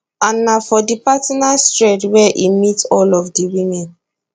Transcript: an na for di partners thread wey e meet all of di women